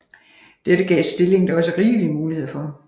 Dette gav stillingen da også rigelige muligheder for